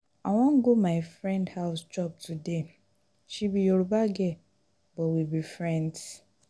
i wan go my friend house chop today. she be yoruba girl but we be friends